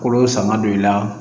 Kolo sanga don i la